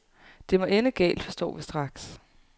Det må ende galt, forstår vi straks.